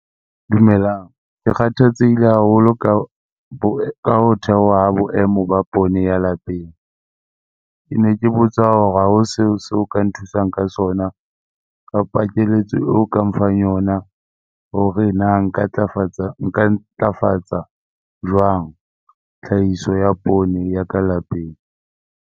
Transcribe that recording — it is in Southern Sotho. Dumelang. Ke kgathatsehile haholo ka ka ho theoha ha boemo ba poone ya lapeng. Ke ne ke botsa hore hao seo so ka nthusang ka sona kapa keletso eo ka nfang yona hore na nka ntlafatsa jwang tlhahiso ya poone ya ka lapeng?